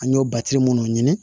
An y'o munnu ɲini